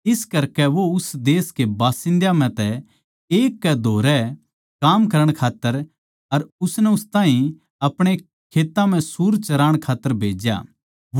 इस करकै वो उस देश के बाशिंद्यां म्ह तै एक कै धोरै काम करण खात्तर अर उसनै उस ताहीं अपणे खेत्तां म्ह सूअर चराण खात्तर भेज्या